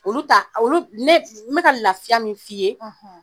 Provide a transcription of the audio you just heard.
Olu ta olu ne n be ka lafiya min f'i ye